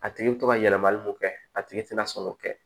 A tigi bɛ to ka yɛlɛmali mun kɛ a tigi tɛ na sɔn k'o kɛ